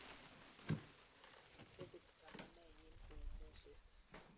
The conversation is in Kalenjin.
kitebi chamanenyin kou moset